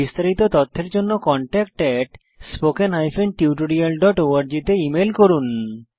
বিস্তারিত তথ্যের জন্য contactspoken tutorialorg তে ইমেল করুন